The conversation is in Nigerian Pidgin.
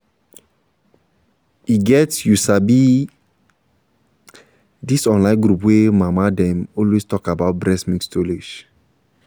e get you sabi this online group wey mama dem dey always talk about breast milk storage